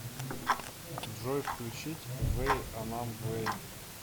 джой включить вей анам вей